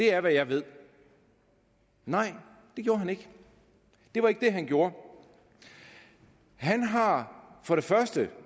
er hvad jeg ved nej det gjorde han ikke det var ikke det han gjorde han har for det første